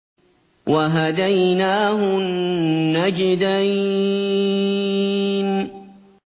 وَهَدَيْنَاهُ النَّجْدَيْنِ